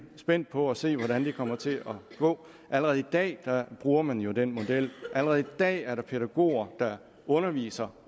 spændt på at se hvordan det kommer til at gå allerede i dag bruger man jo den model allerede i dag er der pædagoger der underviser